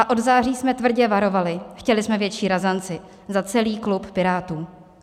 A od září jsme tvrdě varovali, chtěli jsme větší razanci za celý klub Pirátů.